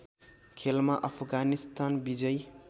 खेलमा अफगानिस्तान विजयी